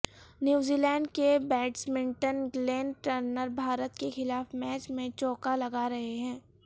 نیوزی Zealand batsman Glenn Turner Bharat کے خلاف match میں چوکا لگا رہے ہیں